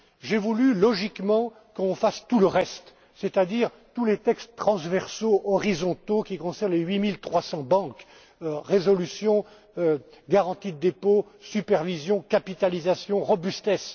J'ai voulu, en toute logique, qu'on fasse tout le reste, c'est à dire tous les textes transversaux horizontaux qui concernent les 8300banques résolution, garantie de dépôts, supervision, capitalisation, robustesse.